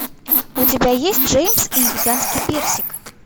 у тебя есть джеймс и гигантский персик